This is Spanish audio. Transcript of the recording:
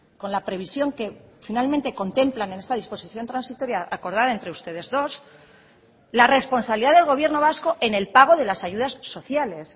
con la previsión que finalmente contemplan en esta disposición transitoria acordada entre ustedes dos la responsabilidad del gobierno vasco en el pago de las ayudas sociales